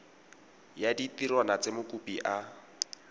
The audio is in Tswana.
ya ditirwana tse mokopi a